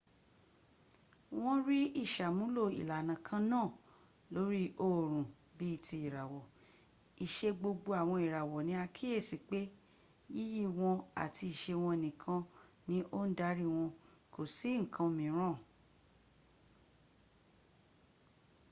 wọn rí ìsàmúlò ìlànà kan náà lórí oòrùn bí i ti ìràwọ̀: ìṣe gbogbo àwọn ìràwọ̀ ni a kíyèsí pé yíyí wọn àti ìse wọn nìkan ni ó ń darí wọn kò sí nǹkan mìíràn